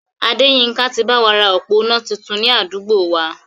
Adéyínká ti báwa ra òpó iná tuntun ni àdúgbò wa